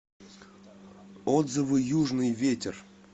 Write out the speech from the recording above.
отзывы южный ветер